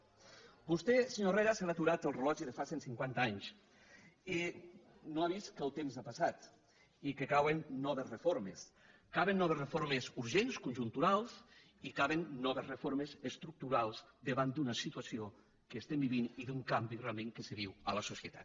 a vostè senyor herrera se li ha aturat el rellotge de fa cent cinquanta anys i no ha vist que el temps ha passat i que caben noves reformes caben noves reformes urgents conjunturals i caben noves reformes estructurals davant d’una situació que vivim i d’un canvi realment que se viu a la societat